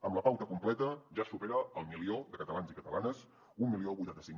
amb la pauta completa ja es supera el milió de catalans i catalanes deu vuitanta cinc